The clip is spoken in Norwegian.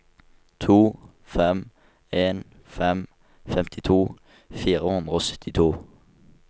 to fem en fem femtito fire hundre og syttito